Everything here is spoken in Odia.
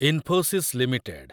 ଇନଫୋସିସ୍ ଲିମିଟେଡ୍